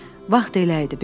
Vaxt elə idi.